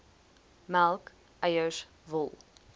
melk eiers wol